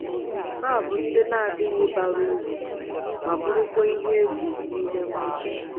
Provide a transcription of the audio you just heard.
Ha bụ ndị na-adịghị bara uru, ma bụrụkwa ihe egwu n’ime mmụọ.